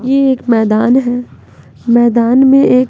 ये एक मैदान है मैदान में एक--